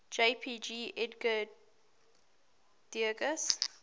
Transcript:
jpg edgar degas